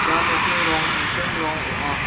ia nokni rong tangsim rong ong·a.